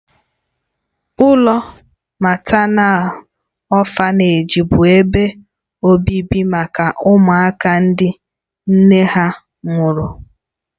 Ụlọ matánal ọ̀fanèji bụ ebe obibi maka ụmụaka ndị nne ha nwụrụ.